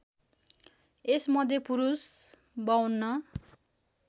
यसमध्ये पुरुष ५२